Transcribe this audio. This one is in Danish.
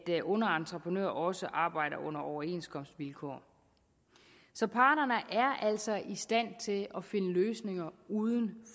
underentreprenør også arbejder under overenskomstvilkår så parterne er altså i stand til at finde løsninger uden